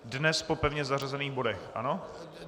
Dnes po pevně zařazených bodech, ano?